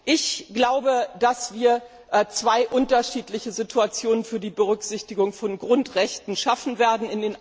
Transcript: Ich glaube, dass wir zwei unterschiedliche Situationen für die Berücksichtigung von Grundrechten schaffen werden.